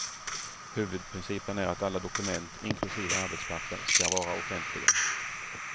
Huvudprincipen är att alla dokument, inklusive arbetspapper, ska vara offentliga.